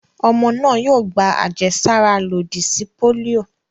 Ọmọ náà yóò gba àjẹsára lòdì sí pólíò.